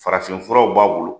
Farafin furaw b'a bolo.